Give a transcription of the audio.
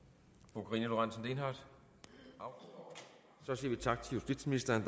fru karina lorentzen dehnhardt så siger vi tak til justitsministeren